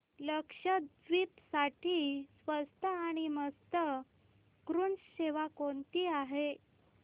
लक्षद्वीप साठी स्वस्त आणि मस्त क्रुझ सेवा कोणती आहे